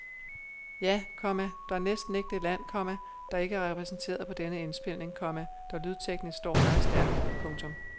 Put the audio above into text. Ja, komma der er næsten ikke det land, komma der ikke er repræsenteret på denne indspilning, komma der lydteknisk står meget stærkt. punktum